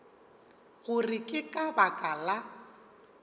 gore ke ka baka la